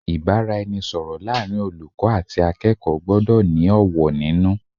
Ìbáraẹnisọ̀rọ̀ láàrin olùkọ́ àti akẹ́kọ̀ọ́ gbọ́dọ̀ ní ọ̀wọ̀ nínú.